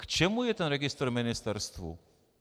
K čemu je ten registr ministerstvu?